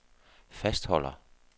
fastholder